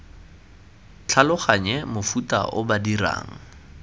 tlhaloganye mofuta o ba dirang